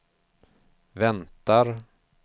väntar